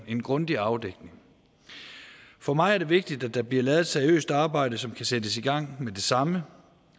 en grundig afdækning for mig er det vigtigt at der bliver lavet et seriøst arbejde som kan sættes i gang med det samme